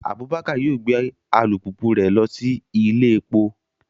Abubakar yoo gbe alupupu rẹ lọ si ile epo